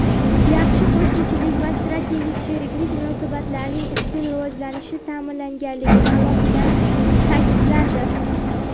yaxshi qo‘shnichilik va strategik sheriklik munosabatlarining izchil rivojlanishi ta’minlanganligi alohida ta’kidlandi.